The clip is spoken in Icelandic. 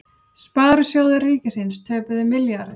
Sparisjóðir ríkisins töpuðu milljarði